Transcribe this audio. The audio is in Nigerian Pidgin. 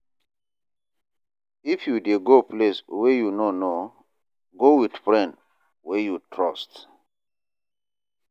If you dey go place wey you no know, go wit friend wey you trust.